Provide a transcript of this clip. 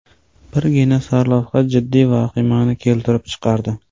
Birgina sarlavha jiddiy vahimani keltirib chiqardi.